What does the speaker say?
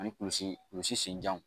Ani kulusi kulusi senjan